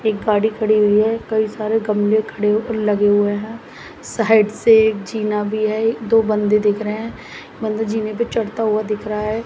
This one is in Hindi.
एक गाड़ी खड़ी हुई है कई सारे गमले खड़े लगे हुए हैं साइड से एक जीना भी है दो बंदे दिख रहे हैं बंद जीने पर चढ़ता हुआ दिख रहा है।